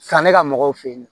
Sanni ka mɔgɔw fe yen nɔ